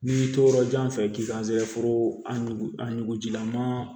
N'i y'i to yɔrɔ jan fɛ k'i ka sɛfo a nugu a nugu jilama